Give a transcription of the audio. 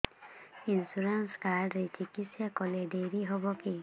insurance card ରେ ଚିକିତ୍ସା କଲେ ଡେରି ହବକି